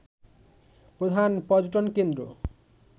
প্রধান পর্যটনকেন্দ্র